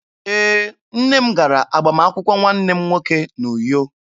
Ee, nne m gara agbamakwụkwọ nwanne m nwoke n'Uyo.